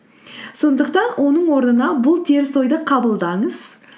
сондықтан оның орнына бұл теріс ойды қабылдаңыз